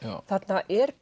þarna er